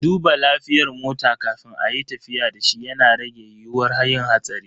Duba lafiyar mota kafin ayi tafiya dashi yana rage yiyuwar yin hatsari.